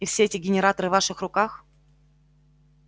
и все эти генераторы в ваших руках